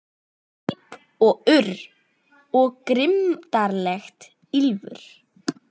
Óp píp og urr, og grimmdarlegt ýlfur.